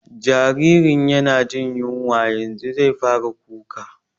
Jaririn yana jin yunwa, yanzu zai fara kuka